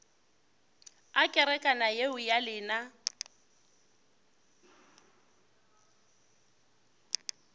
a kerekana yeo ya lena